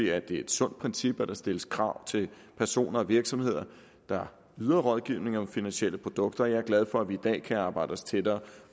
er et sundt princip at der stilles krav til personer og virksomheder der yder rådgivning om finansielle produkter og jeg er glad for at i dag kan arbejde os tættere